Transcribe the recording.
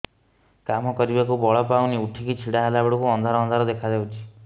କାମ କରିବାକୁ ବଳ ପାଉନି ଉଠିକି ଛିଡା ହେଲା ବେଳକୁ ଅନ୍ଧାର ଅନ୍ଧାର ଦେଖା ଯାଉଛି